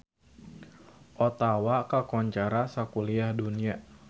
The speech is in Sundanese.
Ottawa kakoncara sakuliah dunya